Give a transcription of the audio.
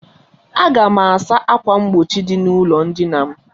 Aga m asa ákwà mgbochi dị n'ụlọ ndina m.